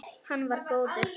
Hann var góður.